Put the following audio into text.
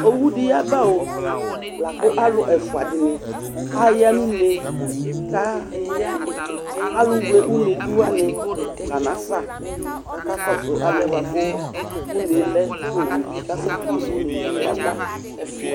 ɔwɔdiyaba laku aluɛfuadini ayanunɛ alu uyɛ ɔnɛbuyani kakakɔsu alʊnɛ ɔnɛlɛ ku ɔwɛ kasɛku unɛyaba